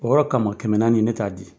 O yɔrɔ kama, kɛmɛ naani, ne t'a di.